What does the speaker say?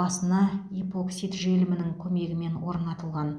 басына ипоксид желімінің көмегімен орнатылған